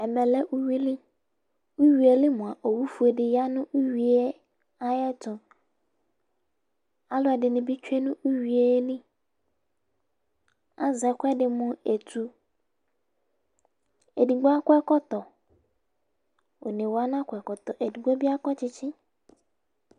Ɛmɛ lɛ uyui li; uyuieli mʋa, owu fue dɩ ya nʋ uyuie ayɛtʋAlʋɛdɩnɩ bɩ tsue nʋ uyuie liAzɛ ɛkʊɛdɩ mʊ etu, edigbo akɔ ɛkɔtɔ ,one wa na kɔ ɛkɔtɔ ,edigbo bɩ akɔ tsɩtsɩ